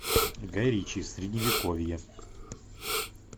гай ричи средневековье